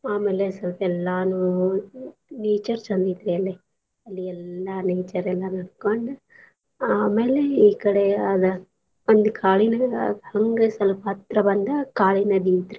ಆಮೇಲೆ ಸ್ವಲ್ಪ ಎಲ್ಲಾನೂ nature ಚಂದ್ ಐತ್ರೀ ಅಲ್ಲೆ ಅಲಿ ಎಲ್ಲಾ nature ಎಲ್ಲಾ ನೋಡ್ಕೊಂಡು ಆಮೇಲೆ ಈ ಕಡೆ ಅದ್ ಒಂದ್ ಕಾಡಿನ್ಯಾಗ ಹಂಗ ಸಲ್ಪ ಹತ್ರ ಬಂದ್ರ ಕಾಳಿ ನದಿ ಐತ್ರೀ.